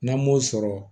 N'an m'o sɔrɔ